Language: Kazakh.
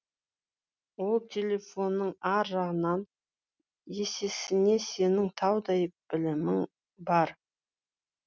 ол телефонның ар жағынан есесіне сенің таудай білімің бар